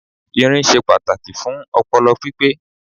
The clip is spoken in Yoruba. Irin ṣe pàtàkì fún ọpọlọ pípé